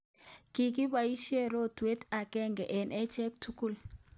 Kikiboisye rotwet agenge eng acheek tugul